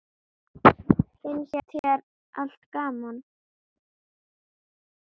Finnst þér alltaf gaman?